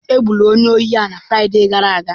Egburu onye ohi a na Fraịde gara aga.